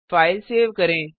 file save करें